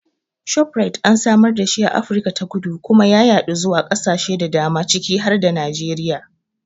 Shoprite an samar dashi a Afirka ta Kudu kuma ya yaɗo zuwa ƙasashe da dama ciki har da Najeriya.